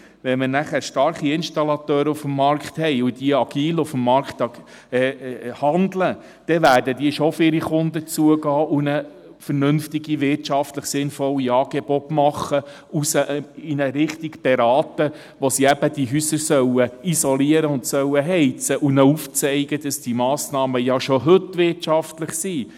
Wenn man nachher starke Installateure auf dem Markt hat, die agil auf dem Markt handeln, dann werden diese schon auf ihre Kunden zugehen und ihnen vernünftige, wirtschaftlich sinnvolle Angebote machen und sie in eine Richtung beraten, wie sie eben diese Häuser isolieren und heizen sollen, und ihnen aufzeigen, dass diese Massnahmen ja schon heute wirtschaftlich sind.